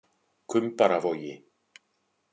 Kumbaravogi